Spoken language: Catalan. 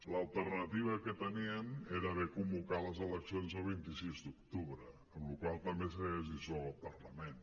l’alternativa que tenien era haver convocat les eleccions el vint sis d’octubre amb la qual cosa també s’hauria dissolt el parlament